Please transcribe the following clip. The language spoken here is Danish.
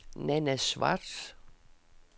Nanna Schwartz